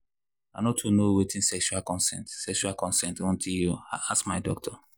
i no too know watin sexual consent sexual consent until i ask my doctor